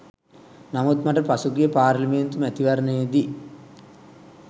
නමුත් මට පසුගිය පාර්ලිමේන්තු මැතිවරණයේදී